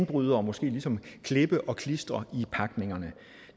bryde og måske ligesom klippe og klistre i pakningerne